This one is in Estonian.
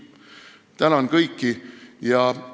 Tänan kõiki!